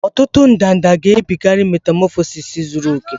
Ọtụtụ ndanda gabigara metamọfọsis zuru oke